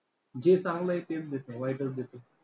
जे चांगलं आहे तेच देत नाही, वाईटच देतो.